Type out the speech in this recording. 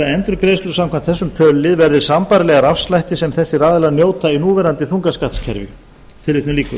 endurgreiðslur samkvæmt þessum tölulið verði sambærilegar afslætti sem þessir aðilar njóta í núverandi þungaskattskerfi það var því